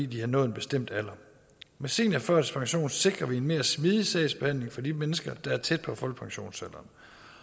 de har nået en bestemt alder med seniorførtidspension sikrer vi en mere smidig sagsbehandling for de mennesker der er tæt på folkepensionsalderen